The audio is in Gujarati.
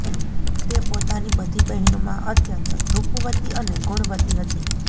તે પોતાની બધી બહેનોમાં અત્યંત રૂપવતી અને ગુણવતી હતી